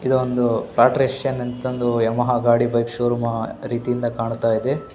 ಇದೊಂದು ಎಂತಂದು ಯಮಹ ಗಾಡಿ ಬೈಕ್ ಶೋ ರೂಮ ರೀತಿಯಿಂದ ಕಾಣ್ತಾಯಿದೆ .